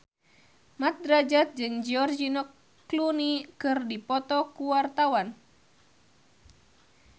Mat Drajat jeung George Clooney keur dipoto ku wartawan